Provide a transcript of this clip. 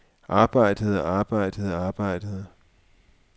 arbejdede arbejdede arbejdede